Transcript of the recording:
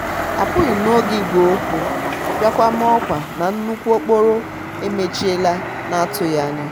apúghim n'oge igwe okwu biakwa maa òkwa na nnukwu okporo emechiela n'atúghi anya.